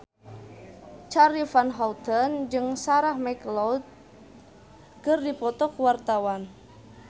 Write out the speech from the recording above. Charly Van Houten jeung Sarah McLeod keur dipoto ku wartawan